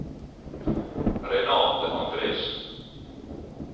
Renate Andresen